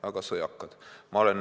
Väga sõjakad!